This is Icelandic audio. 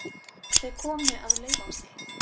Þau komu að Laufási.